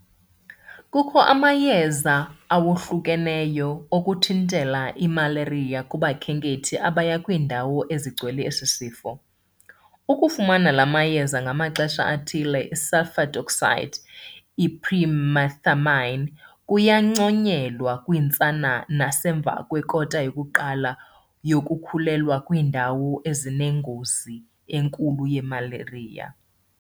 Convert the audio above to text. Kukho amayeza awahlukeneyo okuthintela imalariya kubakhenkethi abaya kwiindawo ezigcwele esi sifo. Ukufumana la mayeza ngamaxesha athile sulfadoxine - i-pyrimethamine kuyanconyelwa kwiintsana nasemva kwekota yokuqala yokukhulelwa kwiindawo ezinengozi enkulu yemalariya.